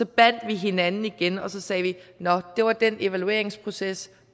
bandt vi hinanden igen og så sagde vi nå det var den evalueringsproces